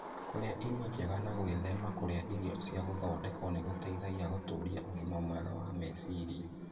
Kũrĩa irio njega na gwĩthema kũrĩa irio cia gũthondekwo nĩ gũteithagia gũtũũria ũgima mwega wa meciria.